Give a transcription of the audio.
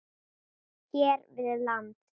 hér við land.